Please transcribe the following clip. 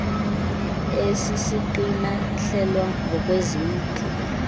esisiqina ihlelwa ngokwezintlu